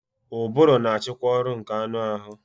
Ụbụrụ na-achịkwa ọrụ nke anụ ahụ